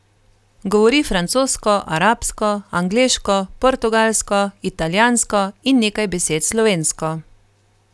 Govori francosko, arabsko, angleško, portugalsko, italijansko in nekaj besed slovensko.